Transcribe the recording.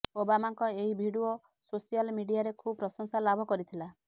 ଓବାମାଙ୍କ ଏହି video social ମିଡିଆରେ ଖୁବ୍ ପ୍ରଶଂସା ଲାଭ କରିଥିଲା